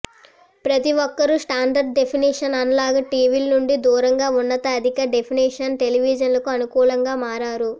ప్రతి ఒక్కరూ standard definition analogue టీవీల నుండి దూరంగా ఉన్నత అధిక డెఫినిషన్ టెలివిజన్లకు అనుకూలంగా మారారు